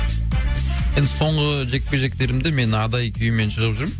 енді соңғы жекпе жектерімді мен адай күйімен шығып жүрмін